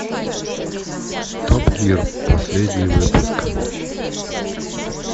топ гир последний выпуск